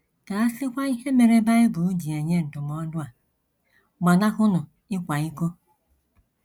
Ka a sịkwa ihe mere Bible ji enye ndụmọdụ a: “ Gbanahụnụ ịkwa iko ”!